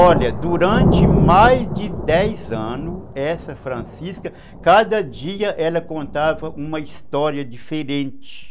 Olha, durante mais de dez anos, essa Francisca, cada dia ela contava uma história diferente.